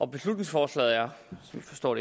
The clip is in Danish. beslutningsforslaget er sådan forstår